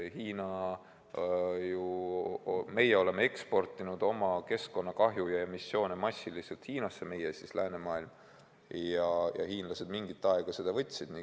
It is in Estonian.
Meie oleme eksportinud oma keskkonnakahju ja emissioone massiliselt Hiinasse – meie, see tähendab läänemaailm – ja hiinlased mingi aja võtsid seda vastu.